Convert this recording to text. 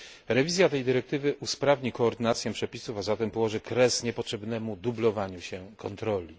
Rewizja tej dyrektywy usprawni koordynację przepisów, a zatem położy kres niepotrzebnemu dublowaniu się kontroli.